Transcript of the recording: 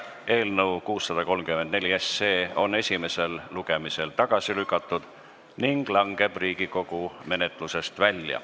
Eelnõu 634 on esimesel lugemisel tagasi lükatud ning langeb Riigikogu menetlusest välja.